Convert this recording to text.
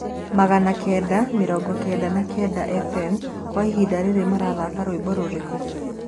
magana kenda mĩrongo kenda na kenda f.m kwa ĩhĩnda riri urathaka rwĩmbo rũrĩkũ